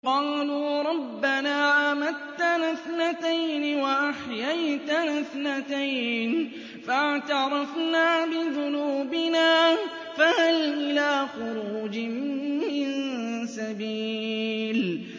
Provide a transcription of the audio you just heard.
قَالُوا رَبَّنَا أَمَتَّنَا اثْنَتَيْنِ وَأَحْيَيْتَنَا اثْنَتَيْنِ فَاعْتَرَفْنَا بِذُنُوبِنَا فَهَلْ إِلَىٰ خُرُوجٍ مِّن سَبِيلٍ